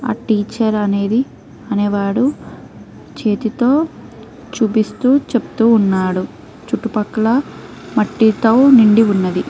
ఆ టీచర్ అనేది అనే వాడు చేతితో చూపిస్తు చెప్తూ ఉన్నాడు చుట్టుపక్కల మట్టితో నిండి ఉన్నది.